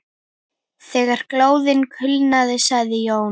Þegar glóðin kulnaði sagði Jón